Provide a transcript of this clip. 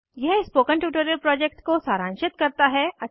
यह spoken tutorial project को सारांशित करता है